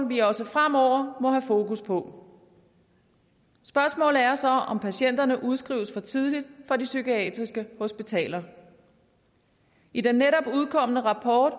vi også fremover må have fokus på spørgsmålet er så om patienterne udskrives for tidligt fra de psykiatriske hospitaler i den netop udkomne rapport